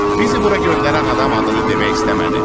Bizi bura göndərən adam adını demək istəmədi.